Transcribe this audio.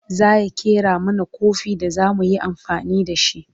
zaya ƙera mana Kofi da zamu yi amfani da shi